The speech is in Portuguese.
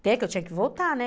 Até que eu tinha que voltar, né?